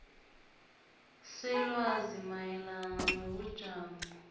selwazi mayelana nobujamo